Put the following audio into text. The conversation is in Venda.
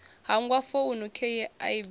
hangwa founu khei a bvisa